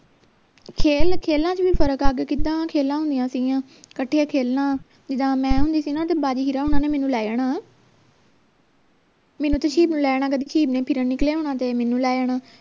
ਖੇਲ ਖੇਲਾਂ ਚ ਵੀ ਫਰਕ ਆ ਗਿਆ ਕਿਦਾਂ ਖੇਲਾਂ ਹੁੰਦੀਆਂ ਸਿਗੀਆਂ ਕੱਠੇ ਖੇਲਣਾ ਜਿੱਦਾਂ ਮੈਂ ਹੁੰਦੀ ਸੀ ਨਾ ਤਾਂ ਬਾਜੀ ਵੀਰਾਂ ਹੁੰਣਾ ਨੇ ਮੈਨੂੰ ਲੈ ਜਾਣਾ ਮੈਨੂੰ ਤੇ ਨੂੰ ਲੈ ਜਾਣਾ ਨੇ ਫਿਰਣ ਨਿਕਲਿਆ ਹੋਣਾ ਤੇ ਮੈਨੂੰ ਲੈ ਜਾਣਾ